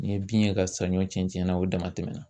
N'i ye bin ye ka saɲɔ cɛn cɛn na o dama tɛmɛna.